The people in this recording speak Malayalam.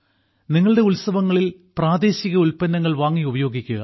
നിങ്ങളുടെ ഉത്സവങ്ങളിൽ പ്രാദേശിക ഉൽപ്പന്നങ്ങൾ വാങ്ങി ഉപയോഗിക്കുക